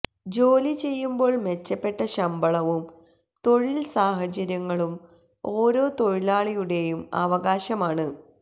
ജോലി ചെയ്യുമ്പോൾ മെച്ചപ്പെട്ട ശമ്പളവും തൊഴിൽ സാഹചര്യങ്ങളും ഓരോ തൊഴിലാളിയുടെയും അവകാശമാണ്